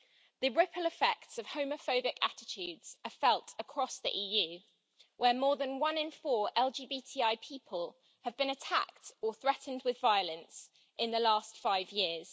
The ripple effects of homophobic attitudes are felt across the EU, where more than one in four LGBTI people have been attacked or threatened with violence in the last five years.